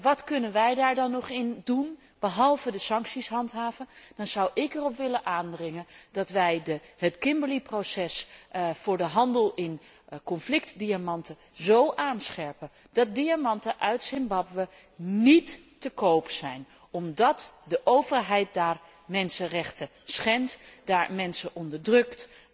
Wat kunnen wij daar nog in betekenen, behalve de sancties handhaven? Dan zou ik erop willen aandringen dat wij het Kimberley proces voor de handel in conflictdiamanten zo aanscherpen dat diamanten uit Zimbabwe niet te koop zijn, omdat de overheid daar mensenrechten schendt, daar mensen onderdrukt,